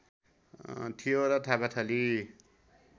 थियो र थापाथली